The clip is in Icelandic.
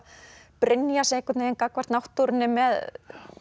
Brynjar sig gagnvart náttúrunni með